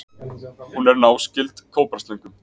Hún er náskyld kóbraslöngum.